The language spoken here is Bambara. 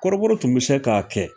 Kɔrɔbɔrɔ tun bɛ se k'a kɛ